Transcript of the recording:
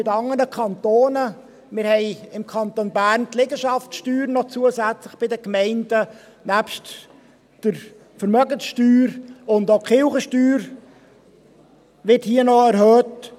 Wir haben im Kanton Bern bei den Gemeinden noch zusätzlich die Liegenschaftssteuer, nebst der Vermögenssteuer, und auch die Kirchensteuer wird hier noch erhöht.